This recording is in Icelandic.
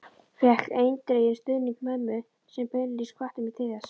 Fékk eindreginn stuðning mömmu sem beinlínis hvatti mig til þess.